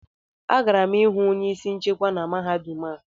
Agara m ịhụ onye isi nchekwa na mahadum a